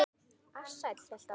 Ársæll hélt áfram.